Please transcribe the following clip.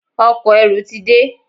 Ọkọ̀-erù ti de.